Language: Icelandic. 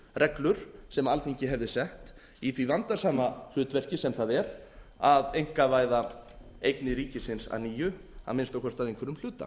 reglur sem alþingi hefði sett í því vandasama hlutverki sem það er að einkavæða eignir ríkisins að nýju að minnsta kosti að einhverjum hluta